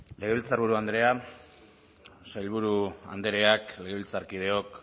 legebiltzarburu andrea sailburu andreak legebiltzarkideok